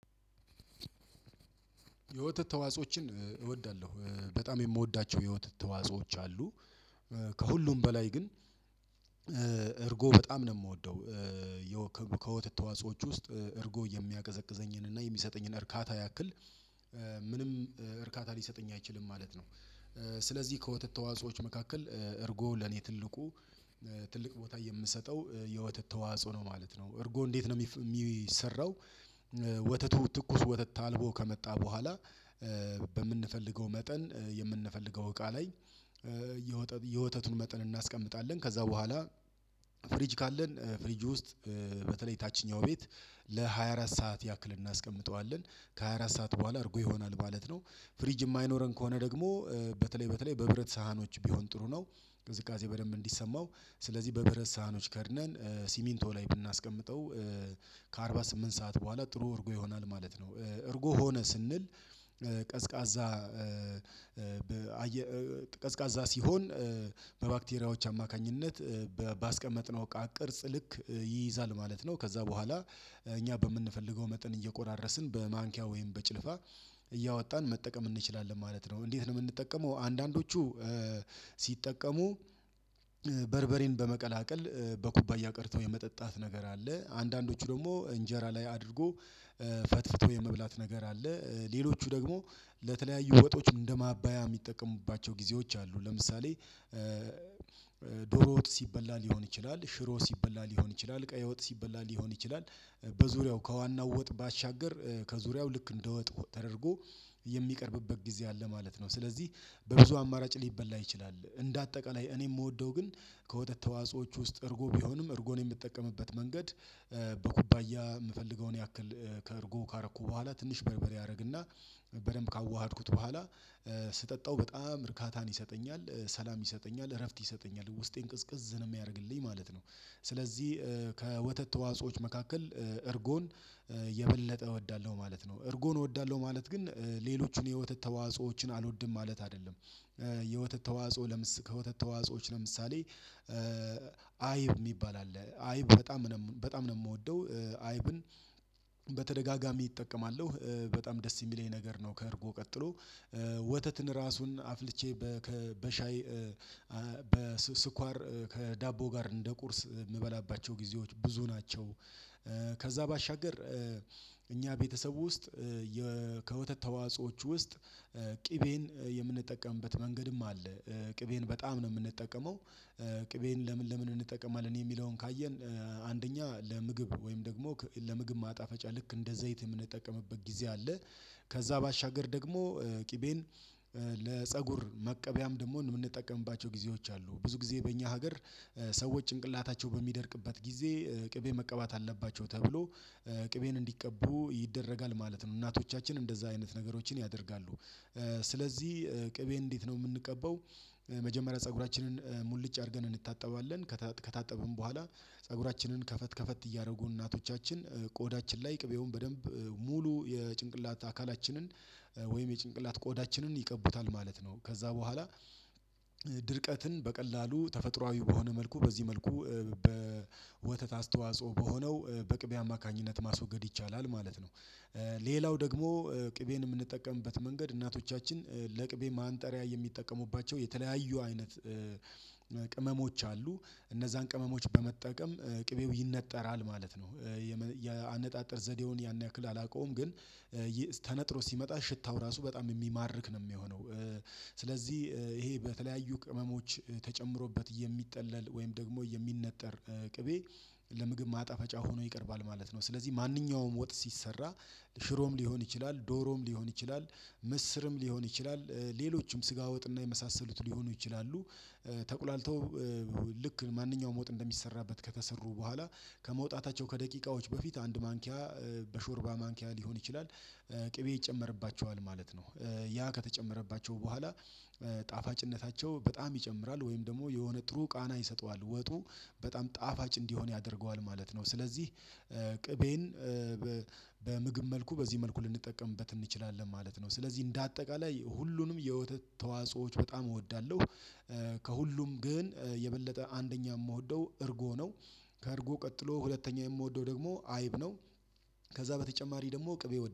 የወተት ተዋጾዎችን እወዳለሁ። በጣም የምወዳቸው የወተት ተዋጾዎች አሉ ከሁሉም በላይ ግን እርጎ በጣም ነው የምወደው። ከወተት ተዋጾዎች ውስጥ እርጎ የሚያቀዘቅዘኝን እና የሚሰጠኝን እርካታ ያክል ምንም እርካታ ሊሰጠኝ አይችልም ማለት ነው። ስለዚህ ከወተት ተዋጾዎች መካከል እርጎ ለኔ ትልቁ ትልቅ ቦታ የምሰጠው የወተት ተዋጽኦ ነው ማለት ነው። እርጎ እንዴት ነው የሚሰራው? ወተቱ ትኩስ ወተት ታልቦ ከመጣ በኋላ በምንፈልገው መጠን የምንፈልገው እቃ ላይ የወተቱን መጠን እናስቀምጣለን ከዛ በኋላ ፍሪጅ ካለን ፍሪጁ ውስጥ በተለይ ታችኛው ቤት ለሃያ አራት ሰዓት ያክልና አስቀምጠዋለን ከሃያ አራት ሰዓት በኋላ እርጎ ይሆናል ማለት ነው። ፍሪጅ የማይኖረን ከሆነ ደግሞ በተለይ በተለይ በብረት ሳህኖች ቢሆን ጥሩ ነው ቅዝቃዜ በደንብ እንዲሰማው ስለዚህ በብረት ሳህኖች ከድነን ሲሚንቶ ላይ ብናስቀምጠው ከአርባ ስምንት ሰዓት በኋላ ጥሩ እርጎ ይሆናል ማለት ነው። እርጎ ሆነ ስንል ቀዝቃዛ ቀዝቃዛ ሲሆን በባክቴሪያዎች አማካኝነት ባስቀመጥነው እቃ ቅርጽ ልክ ይይዛል ማለት ነው። ከዛ በኋላ እኛ በምንፈልገው መጠን እየቆራረስን በማንኪያ ወይም በጭልፋ እያወጣን መጠቀም እንችላለን ማለት ነው። እንዴት ነው የምንጠቀመው አንዳንዶቹ ሲጠቀሙ በርበሬን በመቀላቀል በኩባያ ቀድቶ የመጠጣት ነገር አለ አንዳንዶቹ ደግሞ እንጀራ ላይ አድርጎ ፈትፍቶ የመብላት ነገር አለ። ሌሎቹ ደግሞ ለተለያዩ ወጦች እንደማባያ የሚጠቀሙባቸው ጊዜዎች አሉ ለምሳሌ ዶሮ ወጥ ሲበላ ሊሆን ይችላል ሽሮ ሲበላ ሊሆን ይችላል ቀይ ወጥ ሲበላ ሊሆን ይችላል በዙሪያው ከዋናው ወጥ ባሻገር ከዙሪያው ልክ እንደ ወጥ ተደርጎ የሚቀርብበት ጊዜ አለ ማለት ነው። ስለዚህ በብዙ አማራጭ ሊበላ ይችላል እንደ አጠቃላይ እኔ የምወደው ግን ከወተት ተዋጾዎች ውስጥ እርጎ ቢሆንም እርጎን የምትጠቀምበት መንገድ በኩባያ የምፈልገውን ያክል ከእርጎ ካረኩ በኋላ ትንሽ በርበር አረግና በደንብ ካዋሀድኩት በኋላ ስጠጣው በጣም እርካታን ይሰጠኛል ሰላም ይሰጠኛል እረፍት ይሰጠኛል ውስጤን ቅዝቅዝ ነው የሚያደርግልኝ ማለት ነው። ስለዚህ ከወተት ተዋጾዎች መካከል እርጎን የበለጠ እወዳለሁ ማለት ነው እርጎን እወዳለሁ ማለት ግን ሌሎችን የወተት ተዋጾዎችን አልወድም ማለት አይደለም። የወተት ተዋጾኦ ከወተት ተዋጾዎች ለምሳሌ አይብ የሚባል አለ አይብ በጣም ነው በጣም ነው የምወደው። አይብን በተደጋጋሚ እጠቀማለሁ በጣም ደስ የሚለኝ ነገር ነው ከእርጎ ቀጥሎ ወተትን ራሱን አፍልቼ በሻይ በስኳር ከዳቦ ጋር እንደ ቁርስ የምበላባቸው ጊዜዎች ብዙ ናቸው። ከዛ ባሻገር እኛ ቤተሰቡ ውስጥ ከወተት ተዋጾዎች ውስጥ ቅቤን የምንጠቀምበት መንገድም አለ ቅቤን በጣም ነው የምንጠቀመው ቅቤን ለምን ለምን እንጠቀማለን የሚለውን ካየን አንደኛ ለምግብ ወይም ደግሞ ለምግብ ማጣፈጫ ልክ እንደ ዘይት የምንጠቀምበት ጊዜ አለ ከዛ ባሻገር ደግሞ ቅቤን ለፀጉር መቀበያም ደግሞ የምንጠቀምባቸው ጊዜዎች አሉ ብዙ ጊዜ በእኛ ሀገር ሰዎች ጭንቅላታቸው በሚደርቅበት ጊዜ ቅቤ መቀባት አለባቸው ተብሎ ቅቤን እንዲቀቡ ይደረጋል ማለት ነው። እናቶቻችን እንደዛ አይነት ነገሮችን ያደርጋሉ ስለዚህ ቅቤን እንዴት ነው የምንቀባው መጀመሪያ ፀጉራችንን ሙልጭ አድርገን እንታጠባለን ከታጠብን በኋላ ፀጉራችንን ከፈት ከፈት እያደረጉ እናቶቻችን ቆዳችን ላይ ቅቤውን በደንብ ሙሉ የጭንቅላት አካላችንን ወይም የጭንቅላት ቆዳችንን ይቀቡታል ማለት ነው። ከዛ በኋላ ድርቀትን በቀላሉ ተፈጥሮአዊ በሆነ መልኩ በዚህ መልኩ በወተት አስተዋጽኦ በሆነው በቅቤ አማካኝነት ማስወገድ ይቻላል ማለት ነው። ሌላው ደግሞ ቅቤን የምንጠቀምበት መንገድ እናቶቻችን ለቅቤ ማንጠሪያ የሚጠቀሙባቸው የተለያዩ አይነት ቅመሞች አሉ እነዛን ቅመሞች በመጠቀም ቅቤው ይነጠራል ማለት ነው። የአነጣጠር ዘዴውን ያን ያክል አላውቀውም ግን ተነጥሮ ሲመጣ ሽታው ራሱ በጣም የሚማርክ ነው የሚሆነው። ስለዚህ ይሄ በተለያዩ ቅመሞች ተጨምሮበት የሚጠለል ወይም ደግሞ የሚነጠር ቅቤ ለምግብ ማጣፈጫ ሆኖ ይቀርባል ማለት ነው። ስለዚህ ማንኛውም ወጥ ሲሰራ ሽሮም ሊሆን ይችላል ዶሮም ሊሆን ይችላል ምስርም ሊሆን ይችላል ሌሎችም ስጋ ወጥና የመሳሰሉት ሊሆኑ ይችላሉ ተቁላልተው ልክ ማንኛውም ወጥ እንደሚሰራበት ከተሰሩ በኋላ ከመውጣታቸው ከደቂቃዎች በፊት አንድ ማንኪያ በሾርባ ማንኪያ ሊሆን ይችላል። ቅቤ ይጨመርባቸዋል ማለት ነው ያ ከተጨመረባቸው በኋላ ጣፋጭነታቸው በጣም ይጨምራል ወይም ደግሞ የሆነ ጥሩ ቃና ይሰጠዋል ወጡ በጣም ጣፋጭ እንዲሆን ያደርገዋል ማለት ነው። ስለዚህ ቅቤን በምግብ መልኩ በዚህ መልኩ ልንጠቀምበት እንችላለን ማለት ነው። ስለዚህ እንደ አጠቃላይ ሁሉንም የወተት ተዋጽኦዎች በጣም እወዳለሁ ከሁሉም ግን የበለጠ አንደኛ የምወደው እርጎ ነው። ከእርጎ ቀጥሎ ሁለተኛ የምወደው ደግሞ አይብ ነው። ከዛ በተጨማሪ ደግሞ ቅቤ